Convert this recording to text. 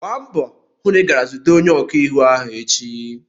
Gba mbọ hụ na ị gara zute onye ọkaiwu ahụ echi!